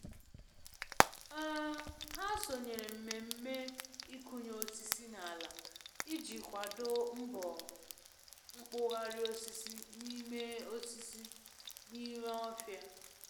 um Ha sonyere mmemme ịkụnye osisi n'ala iji kwado mbọ mkpụgharị osisi n'ime osisi n'ime ofia.